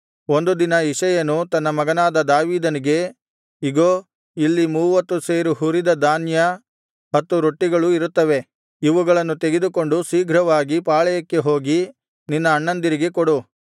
ಒಂದು ದಿನ ಇಷಯನು ತನ್ನ ಮಗನಾದ ದಾವೀದನಿಗೆ ಇಗೋ ಇಲ್ಲಿ ಮೂವತ್ತು ಸೇರು ಹುರಿದ ಧಾನ್ಯ ಹತ್ತು ರೊಟ್ಟಿಗಳೂ ಇರುತ್ತವೆ ಇವುಗಳನ್ನು ತೆಗೆದುಕೊಂಡು ಶೀಘ್ರವಾಗಿ ಪಾಳೆಯಕ್ಕೆ ಹೋಗಿ ನಿನ್ನ ಅಣ್ಣಂದಿರಿಗೆ ಕೊಡು